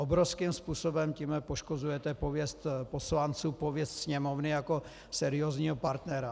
Obrovským způsobem tímhle poškozujete pověst poslanců, pověst Sněmovny jako seriózního partnera.